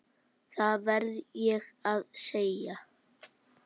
Það verð ég að segja.